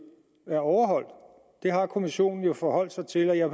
er overholdt det har kommissionen jo forholdt sig til og jeg